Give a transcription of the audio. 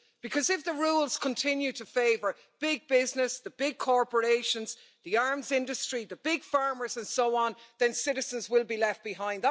Because if the rules continue to favour big business, the big corporations, the arms industry, the big farmers, and so on, then citizens will be left behind.